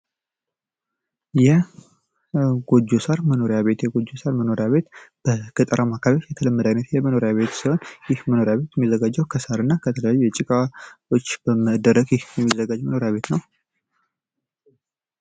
የጎጆ ሣር መኖሪያ ቤት የጎጆ ሳር መኖሪያ ቤት አካባቢዎች የተለመደ የመኖሪያ ቤት ሲሆን ይህ መኖሪያ ቤት የሚዘጋጀው ከሳር እና ከተለያዩ የጭቃዎች በመደረግ ነው።